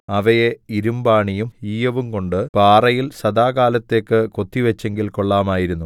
അവയെ ഇരുമ്പാണിയും ഈയവുംകൊണ്ട് പാറയിൽ സദാകാലത്തേക്ക് കൊത്തിവച്ചെങ്കിൽ കൊള്ളാമായിരുന്നു